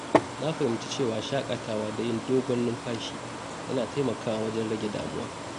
Na fahimci cewa shaƙatawa da yin dogon numfashi yana taimakawa wajen rage damuwa.